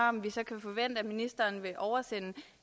om vi så kan forvente at ministeren vil oversende